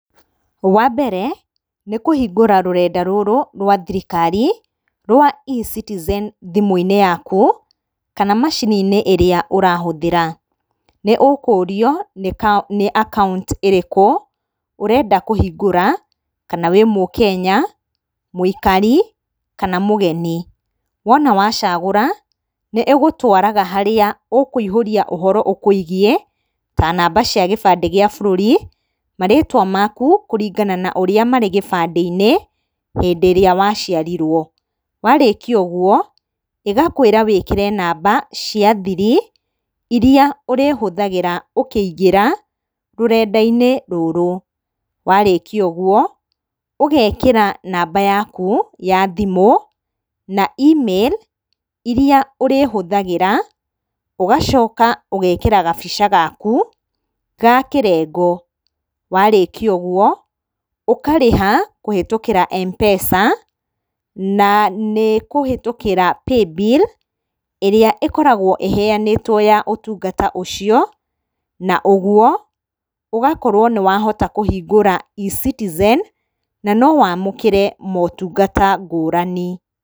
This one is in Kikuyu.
Wa mbere nĩkũhingũra rũrenda rũrũ rwa thirikari rwa eCitizen thimũ-inĩ yaku, kana macini-inĩ ĩrĩa ũrahũthĩra. Nĩũkũrio nĩ account ĩrĩkũ ũrenda kũhingũra, kana wĩ mũkenya mũikari kana mũgeni. Wona wacagũra, nĩ ĩgũtwaraga harĩa he ũhoro ũkwĩgiĩ, ta namba cia gĩbandĩ gĩa bũrũri, marĩtwa maku kũringana na ũrĩa marĩ gĩbandĩ-inĩ, hĩndĩ ĩrĩa waciarirwo. Warĩkia ũguo, ĩgakwĩra wĩkĩre namba cia thiri, irĩa ũrĩhũthagĩra ũkĩingĩra rũrenda-inĩ rũrũ. Warĩkia ũguo, ũgekĩra namba yaku ya thimũ, na email iria ũrĩhũthagĩra, ũgacoka ũgekĩra gabica gaku ga kĩrengo. Warĩkia ũguo, ũkarĩha kũhĩtũkĩra mpesa, na nĩkũhĩtũkĩra paybill ĩrĩa ĩkoragwo ĩheanĩtwo ya ũtungata ũcio, na ũguo, ũgakorwo nĩwahotakũhingũra eCitizen, na nowamũkĩre motungata ngũrani.